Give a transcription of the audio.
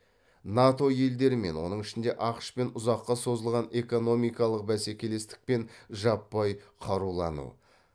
нато елдерімен оның ішінде ақш пен ұзаққа созылған экономикалық бәсекелестік пен жаппай қарулану